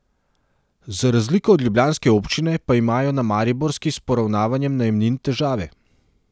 Za razliko od ljubljanske občine pa imajo na mariborski s poravnavanjem najemnin težave.